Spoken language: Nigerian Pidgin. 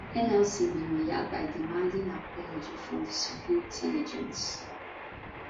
nlc bin react by demanding apology from di security agents